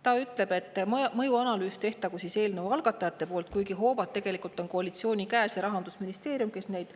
Ta ütleb, et eelnõu algatajad tehku mõjuanalüüs, kuigi hoovad on tegelikult koalitsiooni käes, ja Rahandusministeerium, kes neid